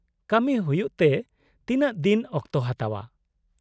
-ᱠᱟᱹᱢᱤ ᱦᱩᱭᱩᱜᱛᱮ ᱛᱤᱱᱟᱹᱜ ᱫᱤᱱ ᱚᱠᱛᱚ ᱦᱟᱛᱟᱣᱼᱟ ?